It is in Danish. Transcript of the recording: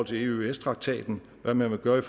til eøs traktaten hvad man vil gøre i